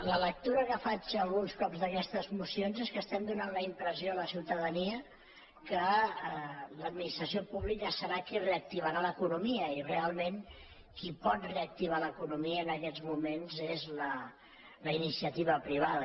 la lectura que faig alguns cops d’aquestes moci·ons és que estem donant la impressió a la ciutadania que l’administració pública serà qui reactivarà l’eco·nomia i realment qui pot reactivar l’economia en aquests moments és la iniciativa privada